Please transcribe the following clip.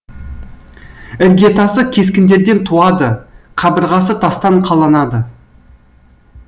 іргетасы кескіндерден туады қабырғасы тастан қаланады